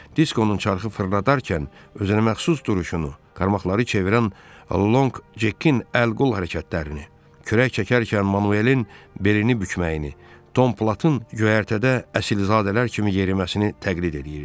Diskonun çarxı fırradarkən özünəməxsus duruşunu, qarmaqları çevirən Long Jekin əl-qol hərəkətlərini, kürək çəkərkən Manuelin belini bükməyini, Tom Plantın göyərtədə əsilzadələr kimi yeriməsini təqlid eləyirdi.